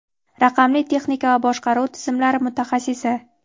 raqamli texnika va boshqaruv tizimlari mutaxassisi.